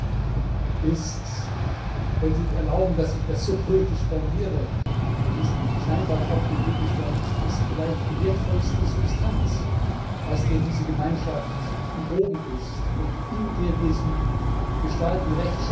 Recht ist wenn Sie erlauben, dass ich das so poetisch formuliere bei diesem scheinbar trockenen Gegenstand vielleicht die wertvollste Substanz, aus der diese Gemeinschaft gewoben ist und in der wir sie gestalten.